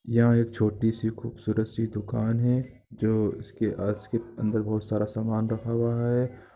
यहाँ एक छोटी सी खूबसूरत सी दुकान हे उस के अंदर बहुत सारा सामान रखा हुआ हैं।